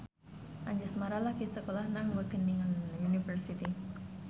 Anjasmara lagi sekolah nang Wageningen University